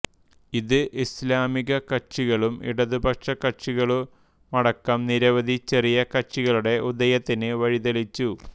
ഇത് ഇസ്ലാമികകക്ഷികളും ഇടതുപക്ഷകക്ഷികളുമടക്കം നിരവധി ചെറിയ കക്ഷികളുടെ ഉദയത്തിന് വഴിതെളിച്ചു